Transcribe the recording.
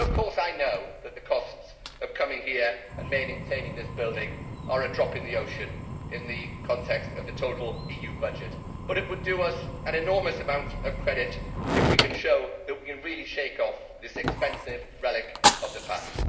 Of course I know that the costs of coming here and maintaining this building are a drop in the ocean in the context of the total EU budget, but it would do us an enormous amount of credit if we can show that we can really shake off this expensive relic of the past.